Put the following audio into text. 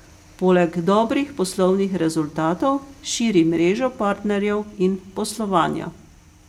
Poleg dobrih poslovnih rezultatov širi mrežo partnerjev in poslovanja.